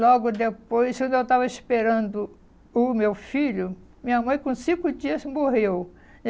Logo depois, quando eu estava esperando o meu filho, minha mãe, com cinco dias, morreu.